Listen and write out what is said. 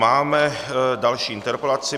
Máme další interpelaci.